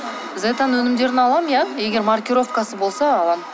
зетаның өнімдерін аламын иә егер маркировкасы болса аламын